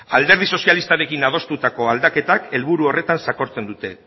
alderdi sozialistarekin adostutako aldaketak helburu horretan sakontzen dute